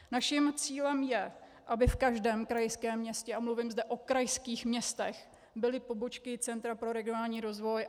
Naším cílem je, aby v každém krajském městě, a mluvím zde o krajských městech, byly pobočky Centra pro regionální rozvoj.